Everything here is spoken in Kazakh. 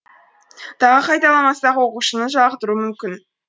тағы қайталамасақ оқушыны жалықтыруы мүмкін